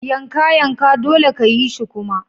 Yanka! Yanka! dolle ka yi shi kuma.